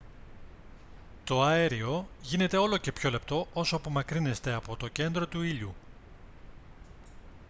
το αέριο γίνεται όλο και πιο λεπτό όσο απομακρύνεστε από το κέντρο του ήλιου